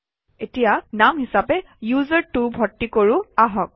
এতিয়া নাম হিচাপে উচাৰ্ত্ব ভৰ্তি কৰোঁ আহক